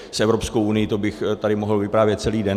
S Evropskou unií - to bych tady mohl vyprávět celý den.